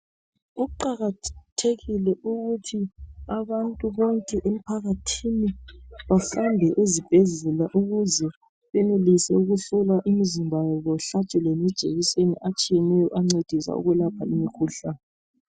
Kuqakathekile ukuthi abantu bonke emphakathini bahambe ezibhedlela ukuze benelise ukuhlola imizimba yabo bahlatshwe lamajekiseni atshiyeneyo ancedisa ukulapha imikhuhlane.